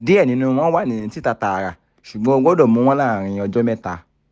diẹ ninu wọn wa ni tita taara ṣugbọn o gbọdọ mu wọn laarin ọjọ mẹta